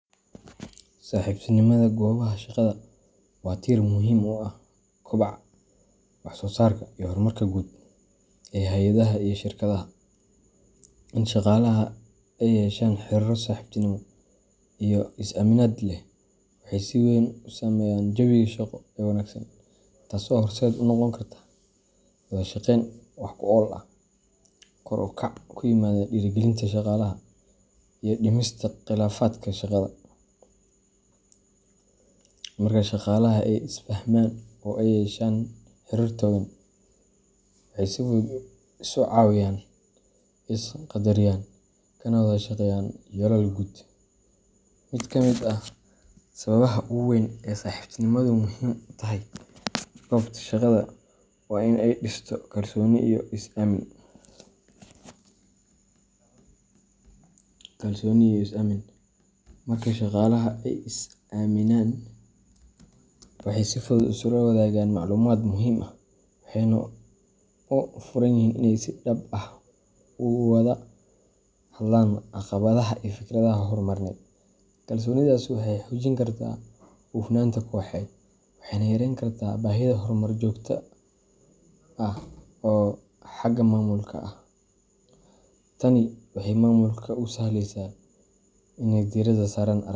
Saaxiibtinimada goobaha shaqada waa tiir muhiim u ah kobaca, wax soo saarka, iyo horumarka guud ee hay’adaha iyo shirkadaha. In shaqaalaha ay yeeshaan xiriirro saaxiibtinimo iyo is aaminaad leh waxay si weyn u saameeyaan jawiga shaqo ee wanaagsan, taasoo horseed u noqon karta wada shaqeyn wax ku ool ah, kor u kac ku yimaada dhiirigelinta shaqaalaha, iyo dhimista khilaafaadka shaqada. Marka shaqaalaha ay is fahmaan oo ay yeeshaan xiriir togan, waxay si fudud isu caawiyaan, is qaddariyaan, kana wada shaqeeyaan yoolal guud. Mid ka mid ah sababaha ugu waaweyn ee saaxiibtinimadu muhiim ugu tahay goobta shaqada waa in ay dhisto kalsooni iyo is aamin. Marka shaqaalaha ay is aaminaan, waxay si fudud isula wadaagaan macluumaad muhiim ah, waxayna u furan yihiin inay si dhab ah uga wada hadlaan caqabadaha iyo fikradaha horumarineed. Kalsoonidaas waxay xoojin kartaa hufnaanta kooxeed, waxayna yarayn kartaa baahida kormeer joogto ah oo xagga maamulka ah. Tani waxay maamulka u sahlaysaa inay diiradda saaraan.